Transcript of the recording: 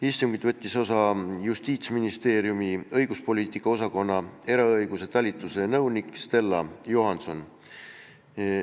Istungist võttis osa Justiitsministeeriumi õiguspoliitika osakonna eraõiguse talituse nõunik Stella Johanson.